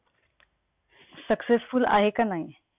successful आहे कि नाही?